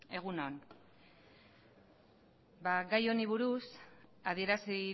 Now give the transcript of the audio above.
egun on ba gai honi buruz adierazi